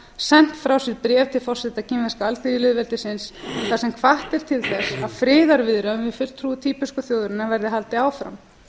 sent frá sér bréf til forseta kínverska alþýðulýðveldisins þar sem hvatt er til þess að friðarviðræðunum við fulltrúa tíbesku þjóðarinnar verði haldið áfram